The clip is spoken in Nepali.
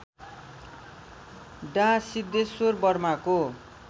डा सिद्धेश्वर वर्माको